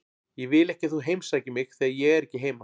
Ég vil ekki að þú heimsækir mig þegar ég er ekki heima.